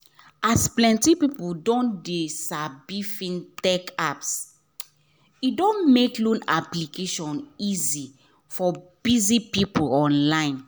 as plenty people don de sabi fintech apps e don make loan application easy for busy people online